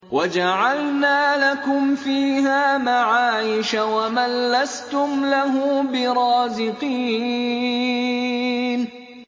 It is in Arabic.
وَجَعَلْنَا لَكُمْ فِيهَا مَعَايِشَ وَمَن لَّسْتُمْ لَهُ بِرَازِقِينَ